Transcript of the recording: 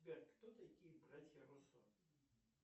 сбер кто такие братья руссо